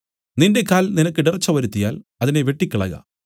നിന്റെ കാൽ നിനക്ക് ഇടർച്ച വരുത്തിയാൽ അതിനെ വെട്ടിക്കളക